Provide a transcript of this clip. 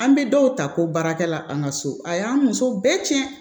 An bɛ dɔw ta ko baarakɛla an ka so a y'an muso bɛɛ cɛn